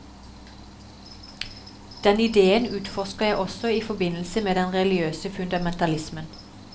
Den idéen utforsker jeg også i forbindelse med den religiøse fundamentalismen.